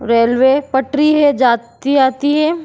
रेल्वें पटरी है जाति आती है।